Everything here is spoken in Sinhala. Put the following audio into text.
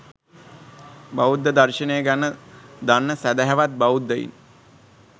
බෞද්ධ දර්ශනය ගැන දන්න සැදැහැවත් බෞද්ධයින්